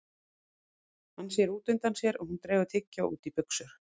Hann sér út undan sér að hún dregur tyggjó út í buxur.